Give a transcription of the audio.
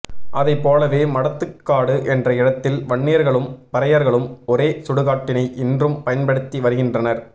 அதைப்போலவே மடத்துக்காடு என்ற இடத்தில் வண்ணியர்களும் பறையர்களும் ஒரே சுடுகாட்டினை இன்றும் பயன்படுத்தி வருகின்றனர்